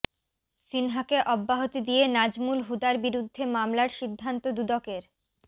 সিনহাকে অব্যাহতি দিয়ে নাজমুল হুদার বিরুদ্ধে মামলার সিদ্ধান্ত দুদকের